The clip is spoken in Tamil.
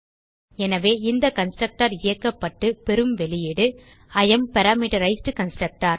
எனவே இந்த கன்ஸ்ட்ரக்டர் இயக்கப்பட்டு பெறும் வெளியீடு இ ஏஎம் பாராமீட்டரைஸ்ட் கன்ஸ்ட்ரக்டர்